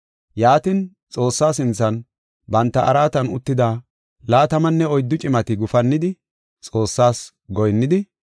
Yaatin, Xoossaa sinthan, banta araatan uttida laatamanne oyddu cimati gufannidi, Xoossas goyinnidi,